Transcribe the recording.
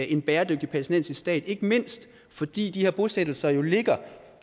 en bæredygtig palæstinensisk stat ikke mindst fordi de her bosættelser jo ligger